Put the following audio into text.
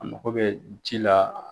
A mago bɛ ji la.